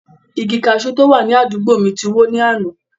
Igi kaṣú tó wà ní àdúgbò mi ti wó ní àná.